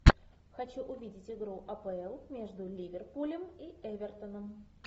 хочу увидеть игру апл между ливерпулем и эвертоном